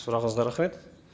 сұрағыңызға рахмет